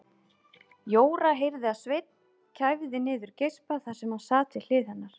Jóra heyrði að Sveinn kæfði niður geispa þar sem hann sat við hlið hennar.